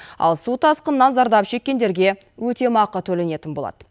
ал су тасқынынан зардап шеккендерге өтемақы төленетін болады